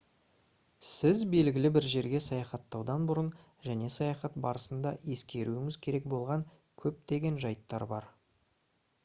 сіз белгілі бір жерге саяхатаудан бұрын және саяхат барысында ескеруіңіз керек болған көптеген жайттар бар